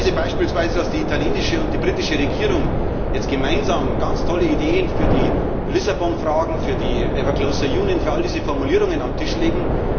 Ich lese beispielsweise, dass die italienische und die britische Regierung jetzt gemeinsam ganz tolle Ideen für die Lissabon Fragen, für die ever closer Union für all diese Formulierungen auf den Tisch legen.